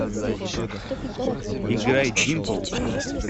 играй димпл